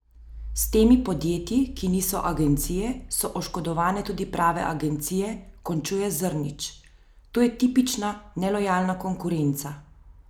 S temi podjetji, ki niso agencije, so oškodovane tudi prave agencije, končuje Zrnić: "To je tipična nelojalna konkurenca.